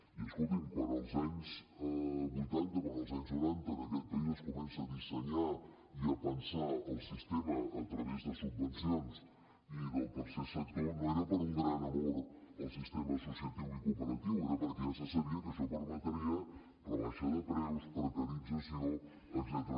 i escolti’m quan als anys vuitanta quan els anys noranta en aquest país es comença a dissenyar i a pensar el sistema a través de subvencions i del tercer sector no era per un gran amor al sistema associatiu i cooperatiu era perquè ja se sabia que això permetria rebaixa de preus precarització etcètera